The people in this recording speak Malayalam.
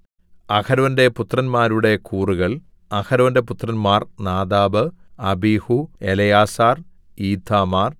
അഹരോന്റെ പുത്രന്മാരുടെ കൂറുകൾ അഹരോന്റെ പുത്രന്മാർ നാദാബ് അബീഹൂ എലെയാസാർ ഈഥാമാർ